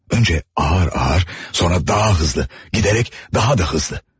Əvvəlcə yavaş-yavaş, sonra daha sürətli, getdikcə daha da sürətli.